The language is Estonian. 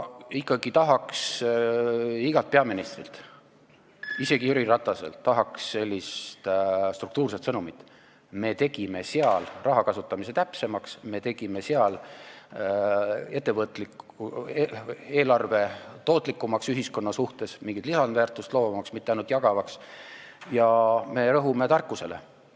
Ikkagi tahaks igalt peaministrilt, isegi Jüri Rataselt sellist struktuurset sõnumit: me tegime eelarves rahakasutamise täpsemaks, me tegime eelarve tootlikumaks ühiskonna suhtes, mingit lisandväärtust loovamaks, mitte ainult jagavaks, ja me rõhume tarkusele.